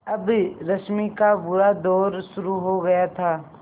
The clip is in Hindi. अब रश्मि का बुरा दौर शुरू हो गया था